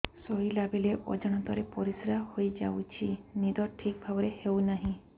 ଶୋଇଲା ବେଳେ ଅଜାଣତରେ ପରିସ୍ରା ହୋଇଯାଉଛି ନିଦ ଠିକ ଭାବରେ ହେଉ ନାହିଁ